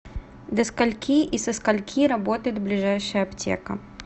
до скольки и со скольки работает ближайшая аптека